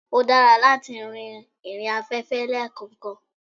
ó dára látí rìnrìn afẹ́fẹ́ lekankan